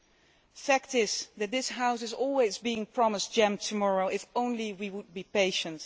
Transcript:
The fact is that this House is always being promised jam tomorrow if only we would be patient.